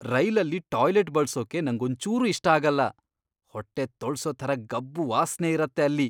ರೈಲಲ್ಲಿ ಟಾಯ್ಲೆಟ್ ಬಳ್ಸೋಕೆ ನಂಗೊಂಚೂರೂ ಇಷ್ಟ ಆಗಲ್ಲ.. ಹೊಟ್ಟೆ ತೊಳ್ಸೋ ಥರ ಗಬ್ಬು ವಾಸ್ನೆ ಇರತ್ತೆ ಅಲ್ಲಿ.